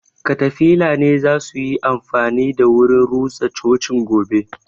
Katafila ne za suyi amfani da wurin rusa cocin gobe